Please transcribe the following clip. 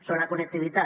sobre la connectivitat